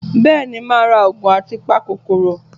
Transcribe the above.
Bẹ́ẹ̀ni, màá ra Ògùn a-pa-kòkoòrò